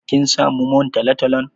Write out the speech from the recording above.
Kin samu man talo-talon?